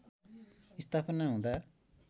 स्थापना हुँदा